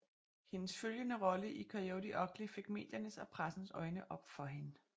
Hendes følgende rolle i Coyote Ugly fik mediernes og pressens øjne op for hende